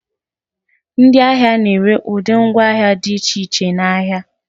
ndị ahịa na-ere ụdị ngwaahịa dị iche iche n'ahịa